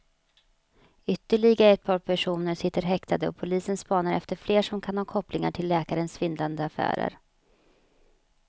Ytterligare ett par personer sitter häktade och polisen spanar efter fler som kan ha kopplingar till läkarens svindlande affärer.